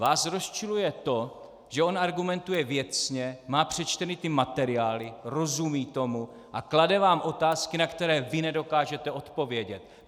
Vás rozčiluje to, že on argumentuje věcně, má přečtené ty materiály, rozumí tomu a klade vám otázky, na které vy nedokážete odpovědět.